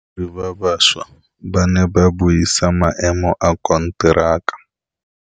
Badiri ba baša ba ne ba buisa maêmô a konteraka.